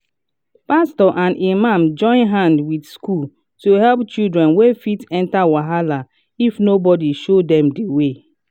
pastor and imam join hand with schools to help children wey fit enter wahala if nobody show dem de way.